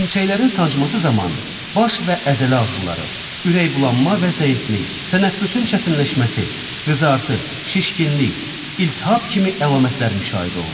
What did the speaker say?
Hörümçəklərin sancması zamanı baş və əzələ ağrıları, ürək bulanma və zəiflik, tənəffüsün çətinləşməsi, qızartı, şişkinlik, iltihab kimi əlamətlər müşahidə olunur.